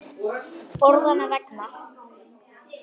Orðanna vegna.